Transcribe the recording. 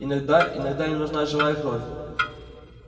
иногда иногда им нужна живая кровь